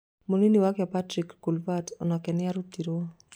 Munini wake Patrick Kluivert, onake nĩarutĩtwo